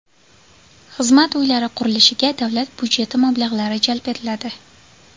Xizmat uylari qurilishiga davlat budjeti mablag‘lari jalb etiladi.